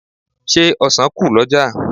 Ṣé ọ̀sàn kù lọ́jà?